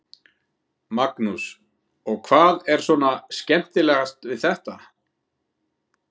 Magnús: Og hvað er svona skemmtilegast við þetta?